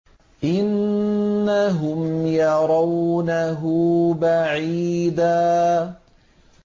إِنَّهُمْ يَرَوْنَهُ بَعِيدًا